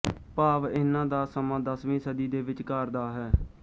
ਭਾਵ ਇਹਨਾਂ ਦਾ ਸਮਾਂ ਦਸਵੀਂ ਸਦੀ ਦੇ ਵਿਚਕਾਰ ਦਾ ਹੈ